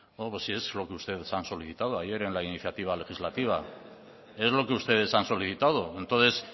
bueno pues si es lo que ustedes han solicitado ayer en la iniciativa legislativa es lo que ustedes han solicitado entonces